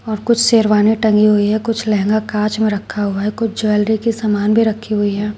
कुछ शेरवानी टंगी हुई है कुछ लहंगा कांच में रखा हुआ है कुछ ज्वेलरी के सामान भी रखी हुई है।